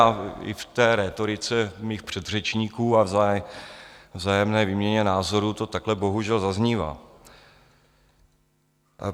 A i v té rétorice mých předřečníků a vzájemné výměně názorů to takhle bohužel zaznívá.